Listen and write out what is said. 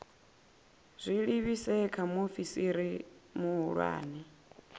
zwi livhise kha muofisi muhulwane